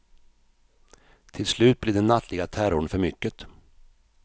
Till slut blev den nattliga terrorn för mycket.